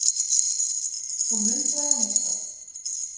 Svo muldraði hann eitthvað.